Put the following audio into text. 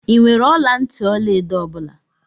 I nwèrè ọla ntị ọlaedo ọ bula?